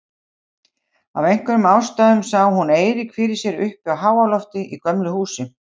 Af einhverjum ástæðum sá hún Eirík fyrir sér uppi á háalofti í gömlu húsi.